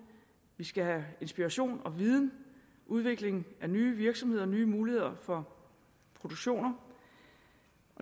vi skal have inspiration og viden udvikling af nye virksomheder og nye muligheder for produktion og